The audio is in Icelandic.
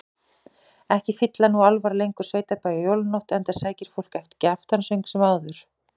Ekki fylla nú álfar lengur sveitabæi á jólanótt, enda sækir fólk ekki aftansöng sem áður.